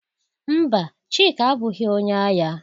Mba, Chika abụghị onye agha.